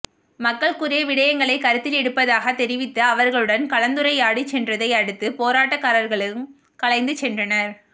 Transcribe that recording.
மக்கள் கூறிய விடயங்களை கருத்திலெடுப்பதாக தெரிவித்து அவர்களுடன் கலந்துரையாடி சென்றதை அடுத்து போராட்ட காரர்களும் கலைந்து சென்றனர்